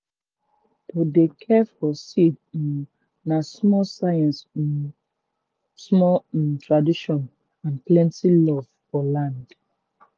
to dey care for seed um na small science um small um tradition and plenty love for land.